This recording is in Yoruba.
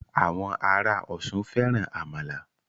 Àwọn ará Ọ̀ṣun fẹ́ran àmàlà